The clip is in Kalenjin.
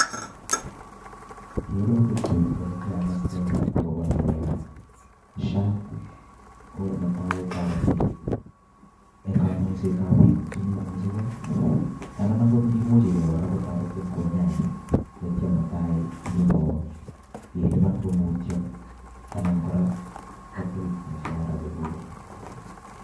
Kerutik chu ole kiakaste akobo ngalekab SHA, Ko netai ko toreti eng kanyoisetab bik che memuchigei anan angot kimuchigei kora kotoretin konyain taitya mutai nyoilipan komutio anan kora kotil mushahara chekuket.